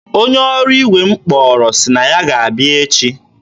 onye ọrụ igwe mmiri m kpọrọ sị na ya ga-abịa echi.